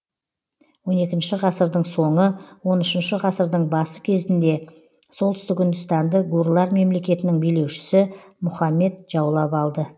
он екінші ғасырдың соңы он үшінші ғасырдың бас кезінде солтүстік үндістанды гурлар мемлекетінің билеушісі мұхаммед жаулап алды